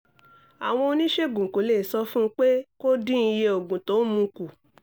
àwọn oníṣègùn kò lè sọ fún un pé kó dín iye oògùn tó ń mu kù